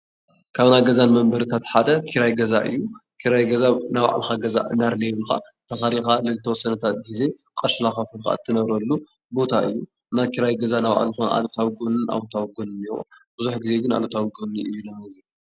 ካብ ናይ ገዛ መንበሪታት ሓደ ክራይ ገዛ እዩ፡፡ ክራይ ገዛ ናይ ባዕልኻ ተኻሪኻ ንዝተወሰነ ጊዜ ቅርሺ እንዳኸፈልካ እትነብረሉ ቦታ እዩ፡፡ ናይ ክራይ ገዛ ናይ ባዕሉ ልኾነ ኣሉታዊ ጎኒ ኣወንታ ጎንን እኔሀዎ ብዙሕ ጊዜ ግን ኣሉታዊ ጎኑ እዩ ዘመዝን፡፡